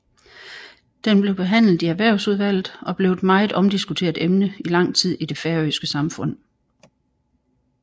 Den blev behandlet i Erhvervsudvalget og blev et meget omdiskuteret emne i lang tid i det færøske samfund